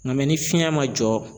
Ŋa ni fiɲɛ ma jɔ